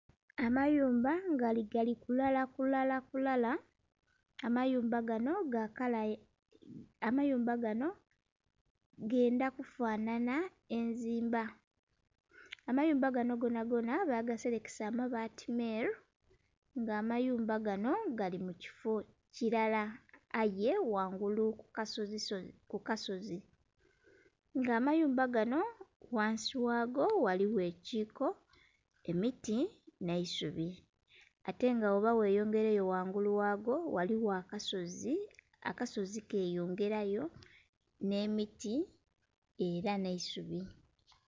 Amayumba nga gali kulalakulala amayumba ganho ga kala ya, amayumba ganho gendha kufananha enzimba. Amayumba ganho gonhagonha bagaselekesa amabaati meeru, nga amayumba ganho gali mu kifo kilala aye ghangulu ku kasozi. Nga amayumba ganho ghansi ghago ghaligho ekiiko, emiti nh'eisubi. Ate nga bwoba gheyongeileyo ghangulu ghago, ghaligho akasozi , akasozi keyongelayo nh'emiti ela nh'eisubi.